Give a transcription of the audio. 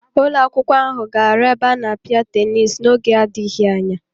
Ụlọakwụkwọ ahụ ga-aru ebe a na-apịa tenis n'oge adịghị anya.